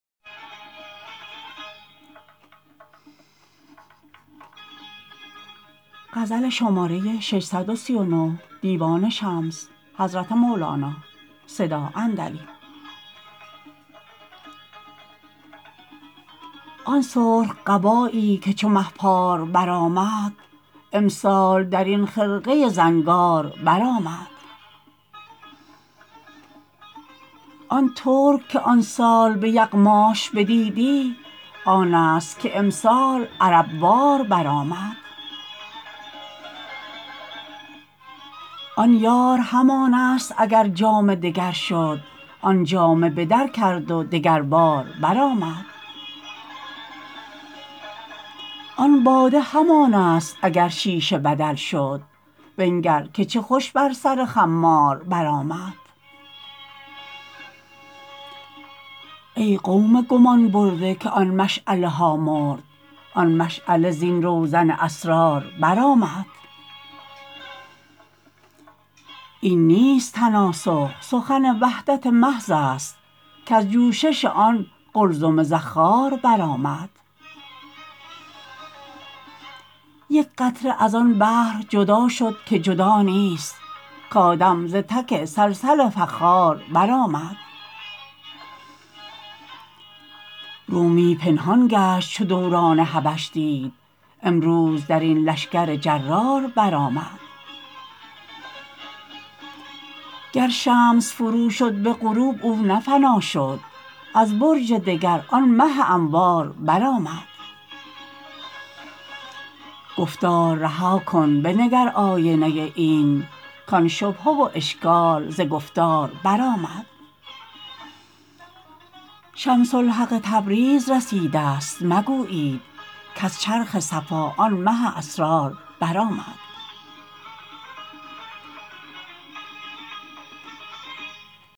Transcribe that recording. آن سرخ قبایی که چو مه پار برآمد امسال در این خرقه زنگار برآمد آن ترک که آن سال به یغماش بدیدی آنست که امسال عرب وار برآمد آن یار همانست اگر جامه دگر شد آن جامه به در کرد و دگربار برآمد آن باده همانست اگر شیشه بدل شد بنگر که چه خوش بر سر خمار برآمد ای قوم گمان برده که آن مشعله ها مرد آن مشعله زین روزن اسرار برآمد این نیست تناسخ سخن وحدت محضست کز جوشش آن قلزم زخار برآمد یک قطره از آن بحر جدا شد که جدا نیست کآدم ز تک صلصل فخار برآمد رومی پنهان گشت چو دوران حبش دید امروز در این لشکر جرار برآمد گر شمس فروشد به غروب او نه فنا شد از برج دگر آن مه انوار برآمد گفتار رها کن بنگر آینه عین کان شبهه و اشکال ز گفتار برآمد شمس الحق تبریز رسیدست مگویید کز چرخ صفا آن مه اسرار برآمد